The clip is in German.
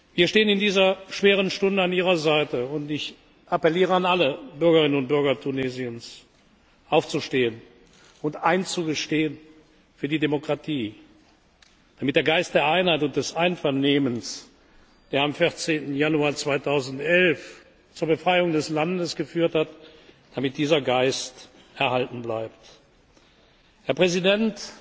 Wir stehen in dieser schweren Stunde an Ihrer Seite, und ich appelliere an alle Bürgerinnen und Bürger Tunesiens, aufzustehen und einzustehen für die Demokratie, damit der Geist der Einheit und des Einvernehmens, der am 14. Januar 2011 zur Befreiung des Landes geführt hat, erhalten bleibt. Herr Präsident,